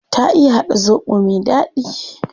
Ta iya hada zobo me dadi